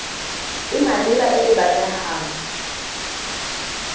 e maleba e e batlegang